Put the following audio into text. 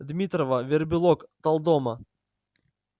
дмитрова вербилок талдома